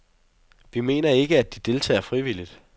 Vi mener ikke, at de deltager frivilligt.